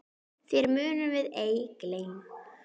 Þér munum við ei gleyma.